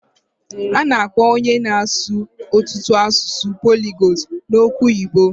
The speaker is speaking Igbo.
A na-akpọ onye na-asụ ọtụtụ asụsụ poligotu n'okwụ oyibo.